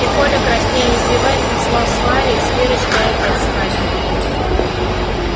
и коля краснея и сбиваясь танцевал с валей с верочкой и опять с валей